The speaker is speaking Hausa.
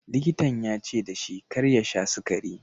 Likitan ya ce da shi kar ya sha sukari.